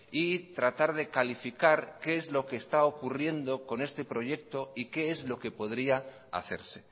y tratar de calificar qué es lo que está ocurriendo con este proyecto y qué es lo que podría hacerse